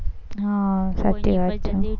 હમ સાચી વાત છે.